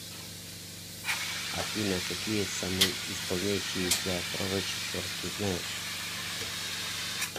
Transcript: афина какие самоисполняющееся пророчество ты знаешь